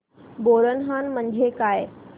बोरनहाण म्हणजे काय